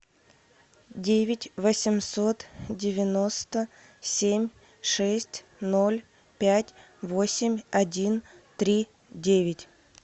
девять восемьсот девяносто семь шесть ноль пять восемь один три девять